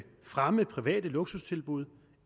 fremme private luksustilbud